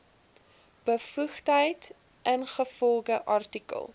bevoegdheid ingevolge artikel